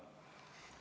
Ma tänan!